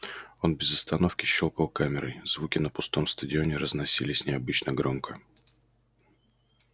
он без остановки щёлкал камерой звуки на пустом стадионе разносились необычно громко